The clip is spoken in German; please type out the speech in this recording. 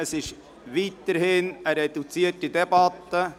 Es handelt sich weiterhin um eine reduzierte Debatte.